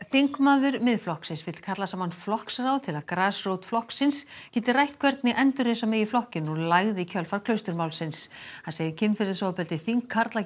þingmaður Miðflokksins vill kalla saman flokksráð til að grasrót flokksins geti rætt hvernig endurreisa megi flokkinn úr lægð í kjölfar Klausturmálsins hann segir kynferðisofbeldi þingkarla